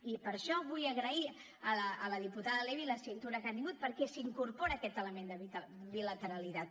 i per això vull agrair a la diputada levy la cintura que ha tingut perquè s’incorpora aquest element de bilateralitat